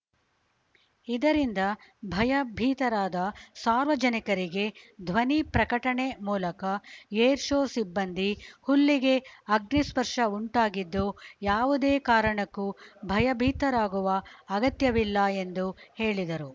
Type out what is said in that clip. ಇದರಿಂದ ಭಯಭೀತರಾದ ಸಾರ್ವಜನಿಕರಿಗೆ ಧ್ವನಿ ಪ್ರಕಟಣೆ ಮೂಲಕ ಏರ್‌ಶೋ ಸಿಬ್ಬಂದಿ ಹುಲ್ಲಿಗೆ ಅಗ್ನಿ ಸ್ಪರ್ಷ ಉಂಟಾಗಿದ್ದು ಯಾವುದೇ ಕಾರಣಕ್ಕೂ ಭಯಭೀತರಾಗುವ ಅಗತ್ಯವಿಲ್ಲ ಎಂದು ಹೇಳಿದರು